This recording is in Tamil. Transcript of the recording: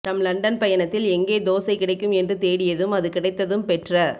தம் லண்டன் பயணத்தில் எங்கே தோசை கிடைக்கும் என்று தேடியதையும் அது கிடைத்ததும் பெற்ற